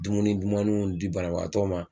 Dumuni dumanniw di banabaatɔ ma